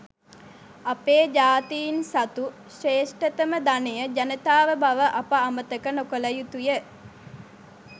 අපේ ජාතීන් සතු ශ්‍රේෂ්ඨතම ධනය ජනතාව බව අප අමතක නොකළ යුතු ය.